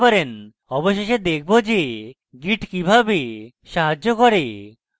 অবশেষে দেখব যে git কিভাবে সাহায্য করে